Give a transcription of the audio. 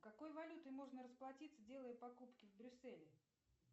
какой валютой можно расплатиться делая покупки в брюсселе